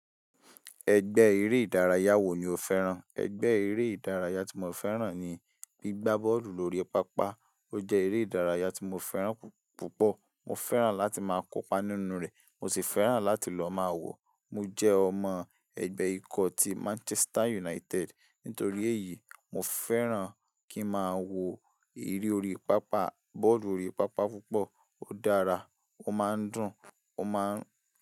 Ẹgbẹ́ eré ìdárayá wo ni o fẹ́ràn? Ẹgbẹ́ eré ìdárayá tí mo fẹ́ràn ni gbígbá bọ́ọ̀lù lórí pápá. Ó jẹ́ eré ìdárayá tí mo fẹ́ràn púpọ̀. Mo fẹ́ràn láti máa kópa nínú rẹ̀, mo sì fẹ́ràn láti lọ máa wọ̀. Mo jẹ́ ọmọ ẹgbẹ́ ikọ̀ ti Manchester United. Nítorí èyí, mo fẹ́ràn kí n máa wo eré orí pápá, bọ́ọ̀lù orí pápá púpọ̀. Ó dára, ó máa ń dùn, ó má ń.